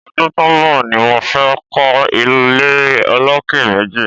Ọdùn tó n bọ ni mó fè kọ ilé ólóké méji